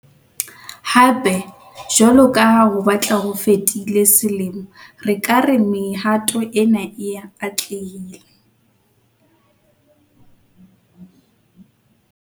Hape, jwalo ka ha ho batla ho fetile selemo, re ka re mehato ena e atlehile.